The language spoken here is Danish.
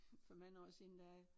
For mange år siden der